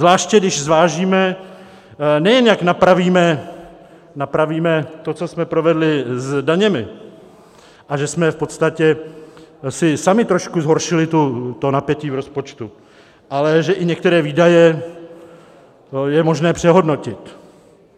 Zvláště když zvážíme, nejen jak napravíme to, co jsme provedli s daněmi, a že jsme v podstatě si sami trošku zhoršili to napětí v rozpočtu, ale že i některé výdaje je možné přehodnotit.